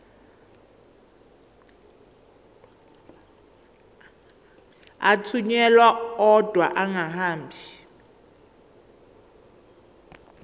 athunyelwa odwa angahambi